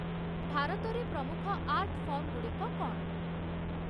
ଭାରତରେ ପ୍ରମୁଖ ଆର୍ଟ ଫର୍ମଗୁଡ଼ିକ କ'ଣ?